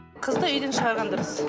қызды үйден шығарған дұрыс